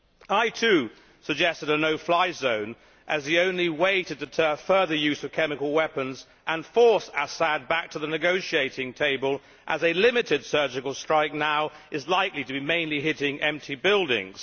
I too suggested a no fly zone as the only way to deter further use of chemical weapons and force Assad back to the negotiating table, given that a limited surgical strike now is likely to hit mainly empty buildings.